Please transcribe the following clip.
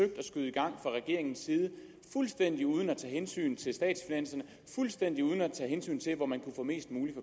at skyde i gang fra regeringens side fuldstændig uden at tage hensyn til statsfinanserne fuldstændig uden at tage hensyn til hvor man kunne få mest muligt